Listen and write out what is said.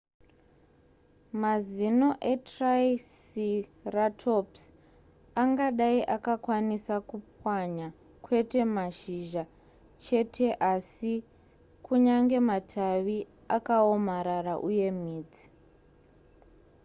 mazino etriceratops angadai akakwanisa kupwanya kwete mashizha cheteasi kunyange matavi akaomarara uye midzi